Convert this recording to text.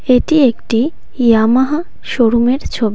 এটি একটি ইয়ামাহা শোরুমের ছবি।